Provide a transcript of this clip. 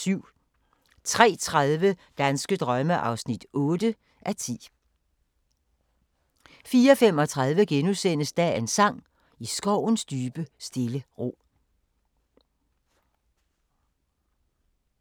03:30: Danske drømme (8:10) 04:35: Dagens sang: I skovens dybe stille ro *